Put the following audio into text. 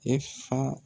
E fa